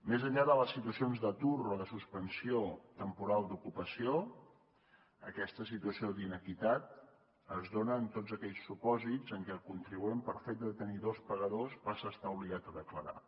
més enllà de les situacions d’atur o de suspensió temporal d’ocupació aquesta situació d’inequitat es dona en tots aquells supòsits en què el contribuent pel fet de tenir dos pagadors passa a estar obligat a declarar